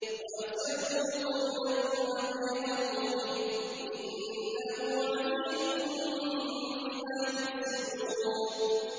وَأَسِرُّوا قَوْلَكُمْ أَوِ اجْهَرُوا بِهِ ۖ إِنَّهُ عَلِيمٌ بِذَاتِ الصُّدُورِ